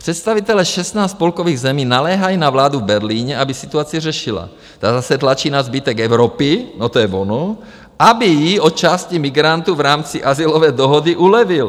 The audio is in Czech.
Představitelé 16 spolkových zemí naléhají na vládu v Berlíně, aby situaci řešila, ta zase tlačí na zbytek Evropy - no, to je ono - aby jí od části migrantů v rámci azylové dohody ulevil.